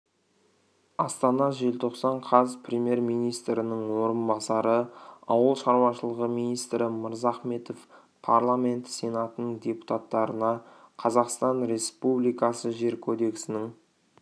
астана желтоқсан қаз премьер-министрінің орынбасары ауыл шаруашылығы министрі мырзахметов парламенті сенатының депутаттарына қазақстан республикасы жер кодексінің